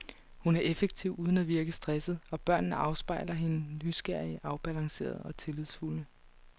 Hun er effektiv uden at virke stresset, og børnene afspejler hende, nysgerrige, afbalancerede og tillidsfulde.